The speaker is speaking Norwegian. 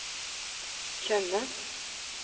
Tjøme